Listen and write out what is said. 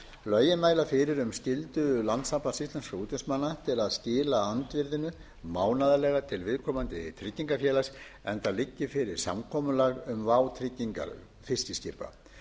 lögin mæla fyrir um skyldu landssambands íslenskra útvegsmanna til að skila andvirðinu mánaðarlega til viðkomandi tryggingafélags enda liggi fyrir samkomulag um vátryggingar fiskiskipa